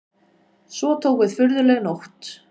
Svo tók við furðuleg nótt.